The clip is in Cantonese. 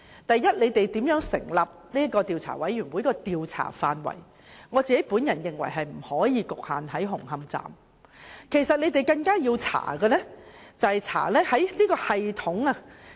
第一，我認為政府調查委員會的調查範圍，不應局限於紅磡站工程，更應調查的是有關系統。